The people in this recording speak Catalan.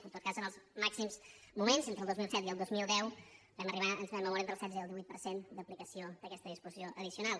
en tot cas en els màxims moments entre el dos mil set i el dos mil deu vam arribar ens vam moure entre el setze i el divuit per cent d’aplicació d’aquesta disposició addicional